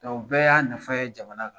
bɛɛ y'a nafa ye jamana la